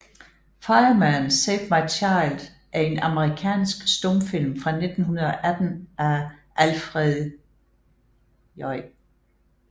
Fireman Save My Child er en amerikansk stumfilm fra 1918 af Alfred J